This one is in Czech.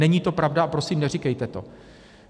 Není to pravda a prosím, neříkejte to.